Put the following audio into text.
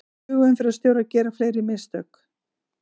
Flugumferðarstjórar gera fleiri mistök